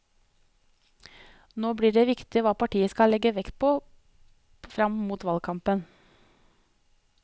Nå blir det viktig hva partiet skal legge vekt på frem mot valgkampen.